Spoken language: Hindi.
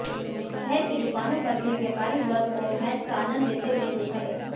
शहर की दुकानों पर भी व्यापारी वर्ग को मैच का आंनद लेते हुए देखा गया